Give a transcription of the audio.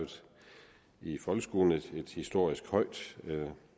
i folkeskolen et historisk højt